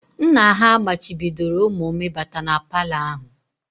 Nna ha machibidoro ụmụ m ịbata na palọ ahụ